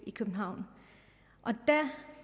i københavn og der